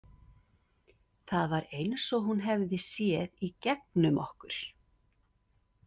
Það var eins og hún hefði séð í gegnum okkur.